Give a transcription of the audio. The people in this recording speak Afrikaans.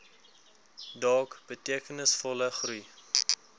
dog betekenisvolle groei